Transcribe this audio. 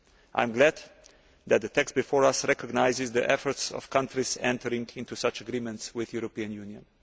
I am glad that the text before us recognises the efforts of countries entering into such agreements with the European Union.